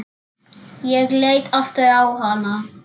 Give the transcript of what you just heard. Ég leit aftur á hana.